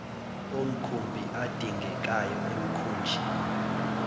omkhumbi adingekayo emkhunjini